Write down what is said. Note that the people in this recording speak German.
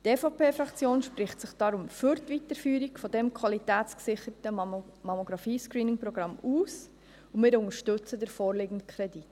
Die EVP-Fraktion spricht sich deshalb für die Weiterführung dieses qualitätsgesicherten Mammographie-Screening-Programms aus, und wir unterstützen den vorliegenden Kredit.